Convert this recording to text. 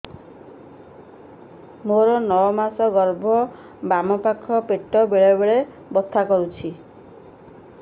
ମୋର ନଅ ମାସ ଗର୍ଭ ବାମ ପାଖ ପେଟ ବେଳେ ବେଳେ ବଥା କରୁଛି